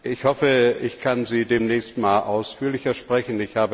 Ich hoffe, ich kann Sie demnächst mal ausführlicher sprechen.